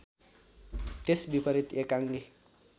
त्यस विपरीत एकाङ्गी